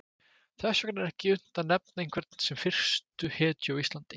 Þess vegna er ekki unnt að nefna einhvern sem fyrstu hetju á Íslandi.